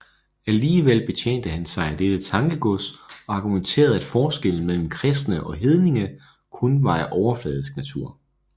Alligevel betjente han sig af dette tankegods og argumenterede at forskellen mellem kristne og hedninge kun var af overfladisk natur